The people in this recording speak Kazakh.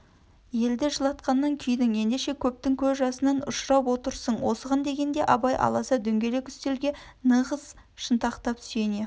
елді жылатқаннан күйдің ендеше көгпің көз жасынан ұшырап отырсың осыған дегенде абай аласа дөңгелек үстелге нығыз шынтақтап сүйене